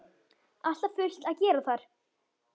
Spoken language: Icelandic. Alltaf fullt að gera þar!